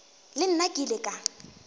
le nna ke ile ka